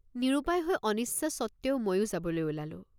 নিৰুপায় হৈ অনিচ্ছা সত্ত্বেও ময়ো যাবলৈ ওলালোঁ।